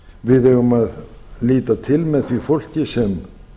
við eigum að líta til með því fólki sem